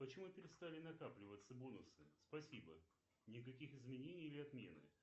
почему перестали накапливаться бонусы спасибо никаких изменений или отмены